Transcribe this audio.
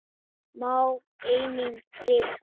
Má einnig rita